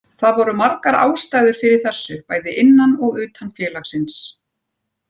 Það voru margar ástæður fyrir þessu bæði innan og utan félagsins.